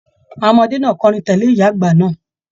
Àwọn ọmọdé náà kọrin tẹle ìyá àgbà náà.